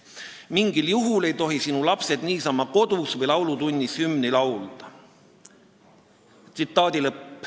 Mingil juhul ei tohi sinu lapsed niisama kodus või laulutunnis hümni laulda".